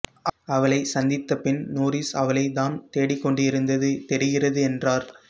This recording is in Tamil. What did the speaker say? அவளை சந்தித்தபின் நோரிஸ் அவளை தான் தேடிக்கொண்டிருந்தது தெரிகிறது என்றார்